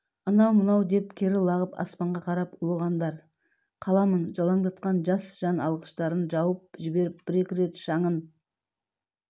анау-мынау деп кері лағып аспанға қарап ұлығандар қаламын жалаңдатқан жас жан алғыштарын жауып жіберіп бір-екі рет шаңын